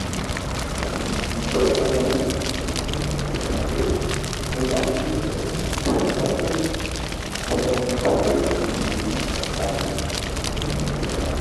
NJE MO LE NJE MO LE RII DAJU PE AWON IDOKOWO MI LE RI AAYE BI?